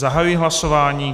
Zahajuji hlasování.